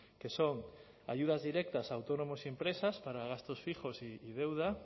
que son ayudas directas a autónomos y empresas para gastos fijos y deuda